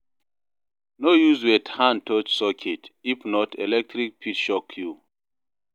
No use wet hand touch socket, if not, electric fit shock you.